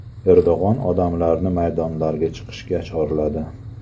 Erdo‘g‘on odamlarni maydonlarga chiqishga chorladi.